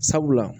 Sabula